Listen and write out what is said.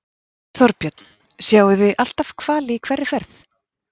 Þorbjörn: Sjáið þið alltaf hvali í hverri ferð?